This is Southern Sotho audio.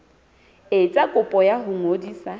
etsa kopo ya ho ngodisa